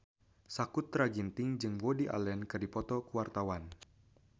Sakutra Ginting jeung Woody Allen keur dipoto ku wartawan